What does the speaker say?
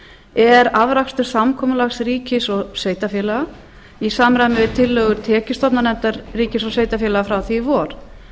er afrakstur samkomulags ríkis og sveitarfélaga í samræmi við tillögur tekjustofnanefndar ríki ég sveitarfélaga frá því í vor